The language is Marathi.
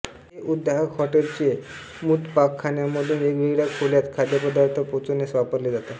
हे उद्वाहक हॉटलचे मुदपाकखान्यामधून वेगवेगळ्या खोल्यात खाद्यपदार्थ पोचविण्यास वापरले जातात